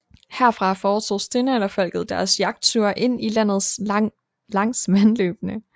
Herfra foretog stenalderfolket deres jagtture ind i landet langs vandløbene